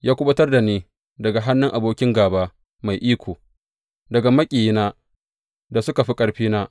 Ya kuɓutar da ni daga hannun abokin gāba mai iko, daga maƙiyina da suka fi ƙarfina.